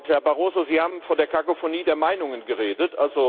Herr Barroso, Sie haben von der Kakophonie der Meinungen geredet.